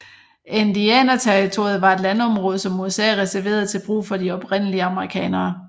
Indianerterritoriet var et landområde som USA reserverede til brug for de oprindelige amerikanere